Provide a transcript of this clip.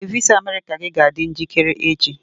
Ee, visa America gị ga-adị njikere echi.